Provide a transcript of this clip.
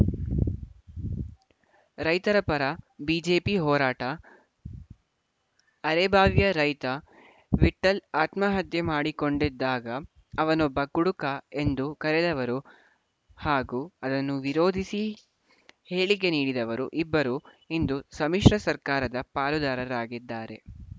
ರೈತರ ಪರ ಬಿಜೆಪಿ ಹೋರಾಟ ಅರೆಬಾವಿಯ ರೈತ ವಿಠ್ಠಲ್‌ ಆತ್ಮಹತ್ಯೆ ಮಾಡಿಕೊಂಡಿದ್ದಾಗ ಅವನೊಬ್ಬ ಕುಡುಕ ಎಂದು ಕರೆದವರು ಹಾಗೂ ಅದನ್ನು ವಿರೋಧಿಸಿ ಹೇಳಿಕೆ ನೀಡಿದವರು ಇಬ್ಬರು ಇಂದು ಸಮ್ಮಿಶ್ರ ಸರ್ಕಾರದ ಪಾಲುದಾರರಾಗಿದ್ದಾರೆ